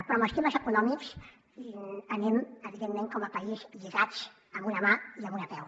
però en els temes econòmics anem evidentment com a país lligats amb una mà i amb un peu